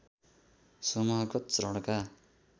समूहगत चरणका